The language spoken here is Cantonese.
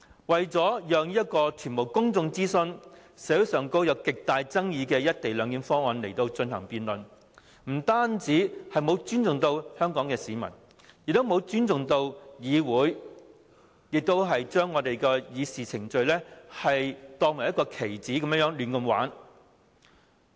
為了讓路予完全未經公眾諮詢、社會上極具爭議的"一地兩檢"議案進行辯論，不單沒有尊重香港市民，亦沒有尊重議會，將議事程序當作棋子般把玩。